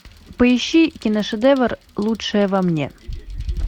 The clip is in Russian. поищи киношедевр лучшее во мне